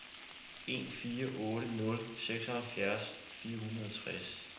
en fire otte nul seksoghalvfjerds fire hundrede og tres